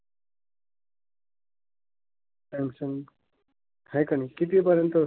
Samsung हाय का नाय? कितीपर्यंत?